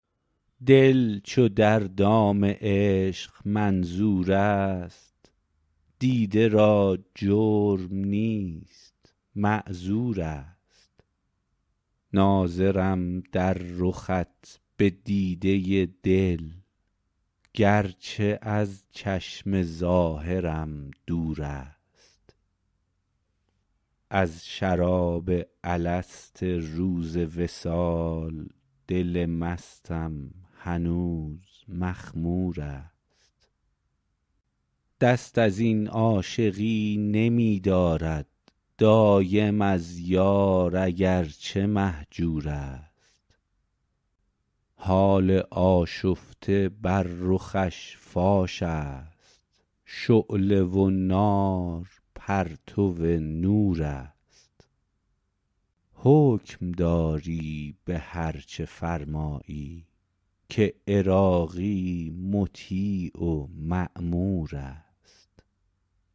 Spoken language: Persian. دل چو در دام عشق منظور است دیده را جرم نیست معذور است ناظرم در رخت به دیده دل گرچه از چشم ظاهرم دور است از شراب الست روز وصال دل مستم هنوز مخمور است دست ازین عاشقی نمی دارد دایم از یار اگرچه مهجور است حال آشفته بر رخش فاش است شعله و نار پرتو نور است حکم داری به هر چه فرمایی که عراقی مطیع و مامور است